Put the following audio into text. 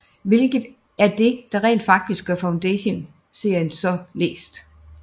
Hvilket er det der rent faktisk gør Foundation serien så læst